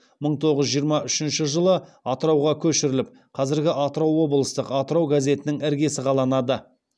мың тоғыз жүз жиырма үшінші жылы атырауға көшіріліп қазіргі атырау облыстық атырау газетінің іргесі қаланады